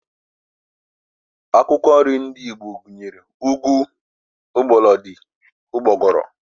Akwụkwọ nri ndị Igbo gụnyere, ụgụ, mgbọlọdị, ụgbọgụrụ